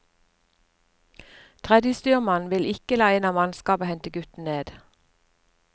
Tredjestyrmannen vil ikke la en av mannskapet hente gutten ned.